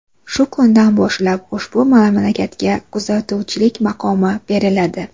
Shu kundan boshlab ushbu mamlakatga kuzatuvchilik maqomi beriladi.